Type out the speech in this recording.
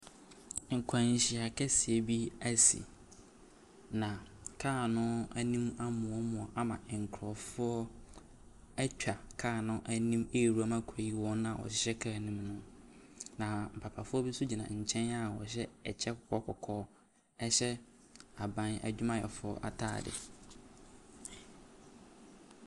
Akwanhyia kɛseɛ bi ɛsi, na car no ɛnim amoamoa ama nkorɔfoɔ ɛtwa car no ɛnim ɛrewura mu akoyi wɔn a ɔhyɛ car no mu no. Na papafoɔ bi nso gyina nkyɛn a ɔhyɛ ɛkyɛ kɔkɔɔ kɔkɔɔ, ɛhyɛ aban adwumayɛfoɔ ataade.